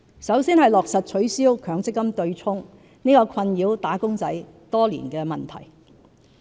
首先是落實取消強積金計劃對沖安排這個困擾"打工仔"多年的問題。